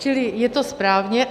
Čili je to správně.